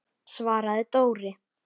svaraði Dóri.